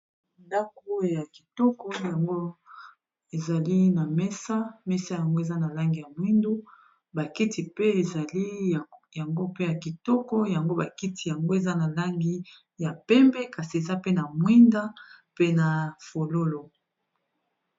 ndako ya kitoko yango ezali na mesa mesa yango eza na langi ya mwindu bakiti pe ezali yango mpe ya kitoko yango bakiti yango eza na langi ya pembe kasi eza pe na mwinda pe na fololo